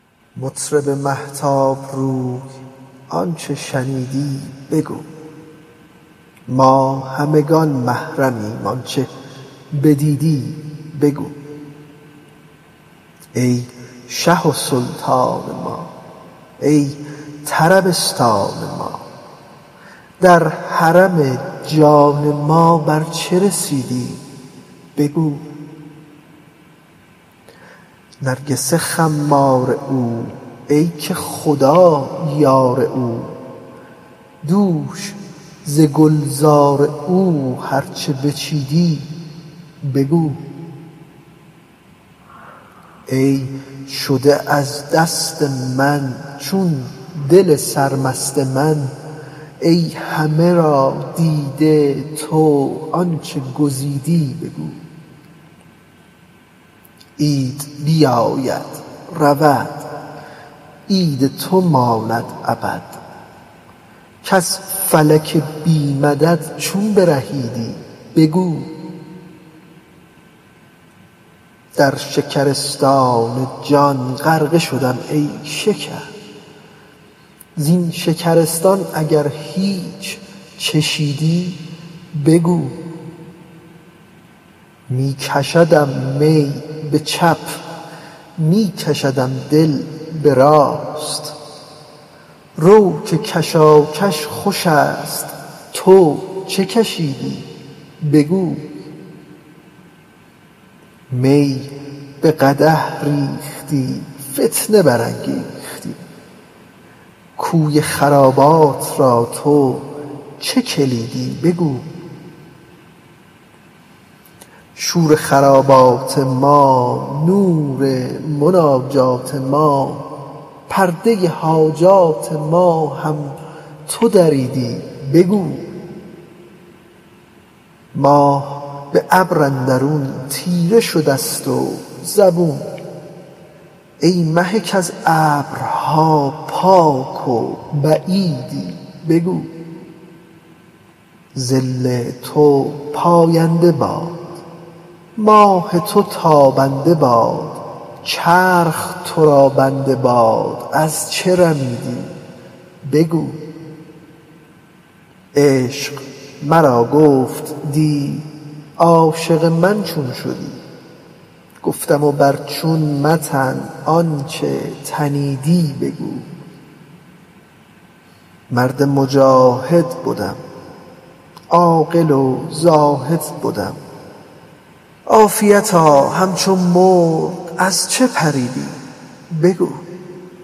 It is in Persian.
مطرب مهتاب رو آنچ شنیدی بگو ما همگان محرمیم آنچ بدیدی بگو ای شه و سلطان ما ای طربستان ما در حرم جان ما بر چه رسیدی بگو نرگس خمار او ای که خدا یار او دوش ز گلزار او هر چه بچیدی بگو ای شده از دست من چون دل سرمست من ای همه را دیده تو آنچ گزیدی بگو عید بیاید رود عید تو ماند ابد کز فلک بی مدد چون برهیدی بگو در شکرستان جان غرقه شدم ای شکر زین شکرستان اگر هیچ چشیدی بگو می کشدم می به چپ می کشدم دل به راست رو که کشاکش خوش است تو چه کشیدی بگو می به قدح ریختی فتنه برانگیختی کوی خرابات را تو چه کلیدی بگو شور خرابات ما نور مناجات ما پرده حاجات ما هم تو دریدی بگو ماه به ابر اندرون تیره شده ست و زبون ای مه کز ابرها پاک و بعیدی بگو ظل تو پاینده باد ماه تو تابنده باد چرخ تو را بنده باد از چه رمیدی بگو عشق مرا گفت دی عاشق من چون شدی گفتم بر چون متن ز آنچ تنیدی بگو مرد مجاهد بدم عاقل و زاهد بدم عافیتا همچو مرغ از چه پریدی بگو